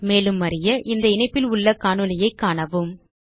மேலும் அறிய இந்த இணைப்பில் உள்ள காணொளியைக் காணவும்